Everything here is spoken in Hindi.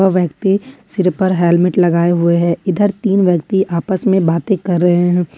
अ व्यक्ति सिर पर हेलमेट लगाए हुए हैं इधर तीन व्यक्ति आपस में बातें कर रहे हैं।